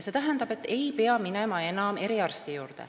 See tähendab, et ei pea minema enam eriarsti juurde.